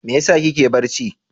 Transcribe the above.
Me yasa kike barci?